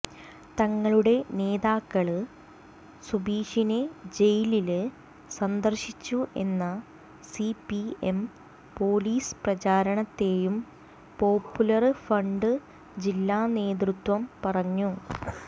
തങ്ങളുടെ നേതാക്കള് സുബീഷിനെ ജയിലില് സന്ദര്ശിച്ചു എന്ന സിപിഎം പോലീസ് പ്രചാരണത്തെയും പോപ്പുലര് ഫ്രണ്ട് ജില്ലാ നേതൃത്വം പറഞ്ഞു